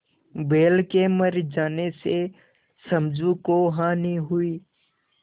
बैल के मर जाने से समझू को हानि हुई